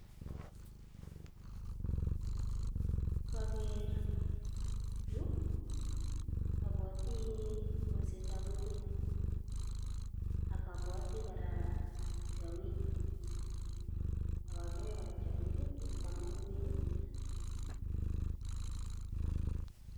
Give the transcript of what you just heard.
Koker yuu obwoti kolsetab ingwek ak obwoti kora tiongik ak okere kora tiongik kikwam ingwek.